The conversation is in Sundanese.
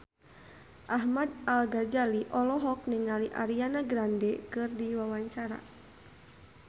Ahmad Al-Ghazali olohok ningali Ariana Grande keur diwawancara